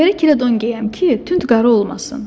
Gərikirə don geyəm ki, tünd qara olmasın.